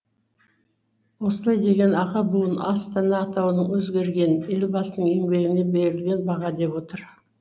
осылай деген аға буын астана атауының өзгергенін елбасының еңбегіне берілген баға деп отыр